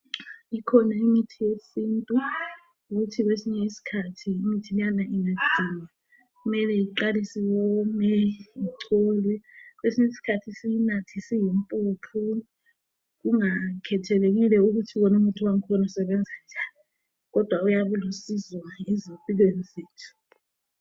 Ikhona imithi yesintu ukuthi kwesinye isikhathi imithi leyana ingagcinwa kumele iqalise iwome, icholwe kwesinye isikhathi siyinathe isiyimpuphu kungakhethelekile ukuthi wona umuthi wakhona usebenza njani kodwa uyabulisizo ezimpilweni zethu.